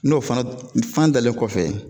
N'o fana fan dalen kɔfɛ